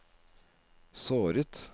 såret